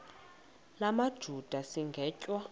la majuda sigwetywa